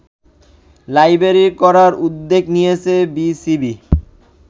library করার উদ্যোগ নিয়েছে বিসিবি